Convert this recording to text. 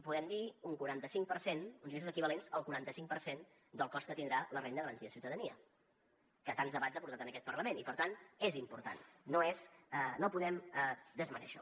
podem dir un quaranta cinc per cent uns ingressos equivalents al quaranta cinc per cent del cost que tindrà la renda garantida de ciutadania que tants debats ha portat en aquest parlament i per tant és important no ho podem desmerèixer